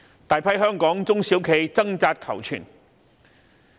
大批香港中小型企業掙扎求存。